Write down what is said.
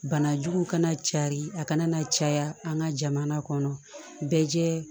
Banajuguw kana cari a kana na caya an ka jamana kɔnɔ bɛɛ jɛ